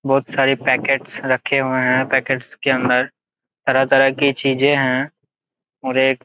बहुत सारे पैकेट्स रखे हुए है पैकेट्स के अंदर तरह तरह के चीजे है और एक--